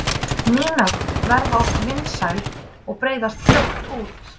Ný nöfn verða oft vinsæl og breiðast fljótt út.